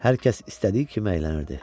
Hər kəs istədiyi kimi əylənirdi.